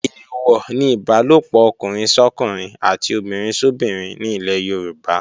Èèwọ̀ ni Ìbálòpọ̀ ọkùnrin sọ́kùnrin àti obìnrin sóbinrin ní ilẹ̀ Yorùbá